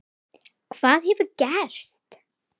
Hvað hefur gerst?